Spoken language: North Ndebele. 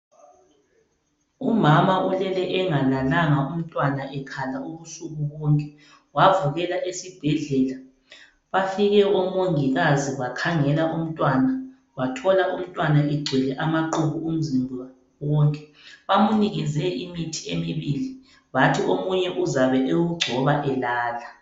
Umama ulele engalalanga umntwana ekhala ubusuku bonke wavukela esibhedlela bafike omongikazi bakhangela umntwana bathola umntwana egcwele amaqubu umzimba wonke bamnikeze imithi emibili bathi omunye uzabe ewugcoba elala.